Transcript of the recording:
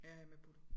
Ja jeg er med på det